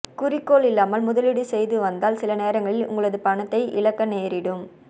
குறிக்கோள் இல்லாமல் முதலீடு செய்து வந்தால் சில நேரங்களில் உங்களது பணத்தை இலக்க நேரிடும்